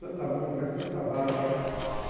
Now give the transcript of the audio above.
Santa Mônica, Santa Bárbara.